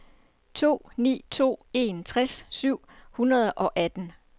to ni to en tres syv hundrede og atten